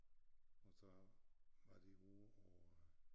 Og så var de ovre på øh